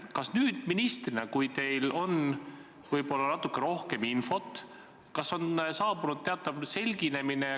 Kas teil nüüd ministrina, kui teil on natuke rohkem infot, on saabunud teatav selginemine?